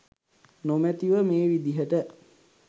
නොමැතිව මේ විදිහට